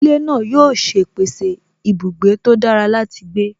Ilé náà yóò ṣe pèsè ibùgbé tó dára láti gbé